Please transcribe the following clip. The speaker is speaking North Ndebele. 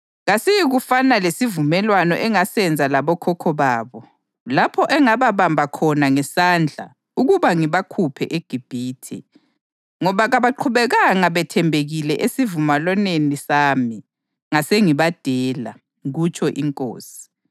Kasiyikufana lesivumelwano engasenza labokhokho babo lapho engababamba khona ngesandla ukuba ngibakhuphe eGibhithe, ngoba kabaqhubekanga bethembekile esivumelwaneni sami, ngasengibadela, kutsho iNkosi.